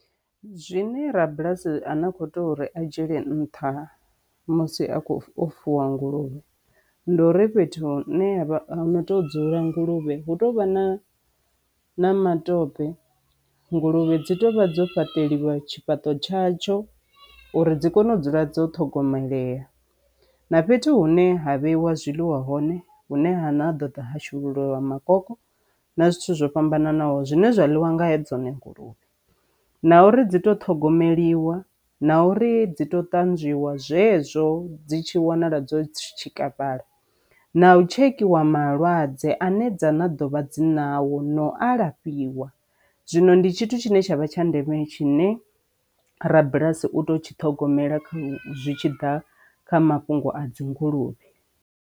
Zwine ra bulasi ane a kho to ri a dzhiele nṱha musi a khou fuwa nguluvhe ndi uri fhethu hu ne ho to dzula nguluvhe hu tou vha na na matope nguluvhe dzi tovha dzo fhaṱeliwa tshifhaṱo tsha tsho uri dzi kone u dzula dzo ṱhogomelea. Nafhethu hune ha vheiwa zwiḽiwa hone hune ha na ha ḓo ḓa ha shulule lwa makoloko na zwithu zwo fhambananaho zwine zwa ḽiwa nga he dzone nguluvhe na uri dzi to ṱhogomeliwa na uri dzi to ṱanzwiwa zwezwo dzi tshi wanala dzo tshikafhala na u tshekhiwa malwadze ane dza na dovha dzina nawo na u alafhiwa. Zwino ndi tshithu tshine tshavha tsha ndeme tshine rabulasi u to tshi ṱhogomela zwi tshi ḓa kha mafhungo a dzi nguluvhe.